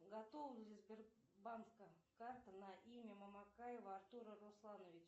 готова ли сбербанка карта на имя мамакаева артура руслановича